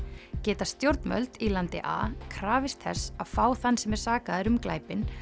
geta stjórnvöld í landi a krafist þess að fá þann sem er sakaður um glæpinn